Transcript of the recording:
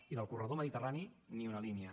i del corredor mediterrani ni una línia